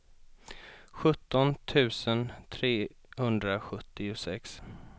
sjutton tusen trehundrasjuttiosex